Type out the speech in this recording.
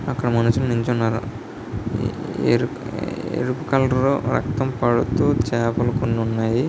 అక్కడ మనుషులు నిల్చున్నారు ఎరుపు ఎరుపు కలరు రక్తం పడుతూ చాపలు కొన్నున్నాయి.